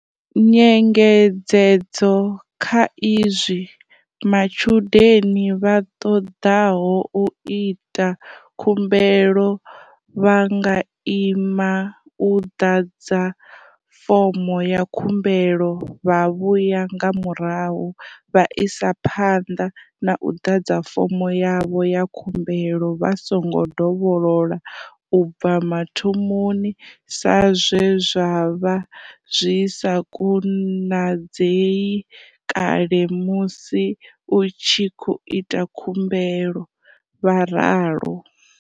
"Nyengedzedzo kha izwi, matshudeni vha ṱoḓaho u ita khumbelo vha nga ima u ḓadza fomo ya khumbelo vha vhuya nga murahu vha isa phanḓa na u ḓadza fomo yavho ya khumbelo vha songo dovholola u bva mathomoni sa zwe zwa vha zwi sa konadzei kale musi u tshi khou ita khumbelo," vha ralo.